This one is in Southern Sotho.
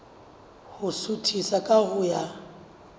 ho suthisa ka ho ya